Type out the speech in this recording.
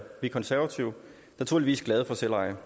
vi konservative naturligvis glade for selveje